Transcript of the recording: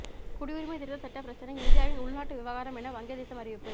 குடியுரிமை திருத்த சட்ட பிரச்சினை இந்தியாவின் உள்நாட்டு விவகாரம் என வங்கதேசம் அறிவிப்பு